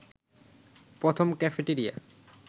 প্রথম ক্যাফেটেরিয়া